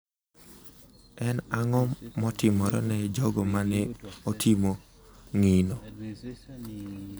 En ang’o motimore ne jogo ma ne otimo ngino?